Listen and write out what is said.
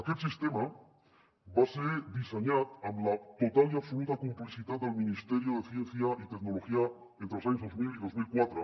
aquest sistema va ser dissenyat amb la total i absoluta complicitat del ministerio de ciencia y tecnología entre els anys dos mil i dos mil quatre